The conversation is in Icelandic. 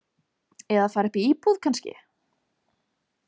Eða fara upp í íbúð, kannski.